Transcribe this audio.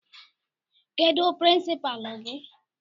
Kedụ pirinsipaalu gị?